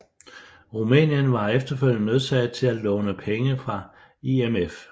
Rumænien var efterfølgende nødsaget til at låne penge fra IMF